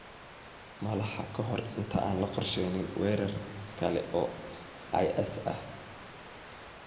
Malaha ka hor inta aan la qorsheyn weerar kale oo IS ah.